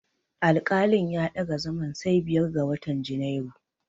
Alƙalin ya ɗaga zaman sai biyar ga watan Junairu.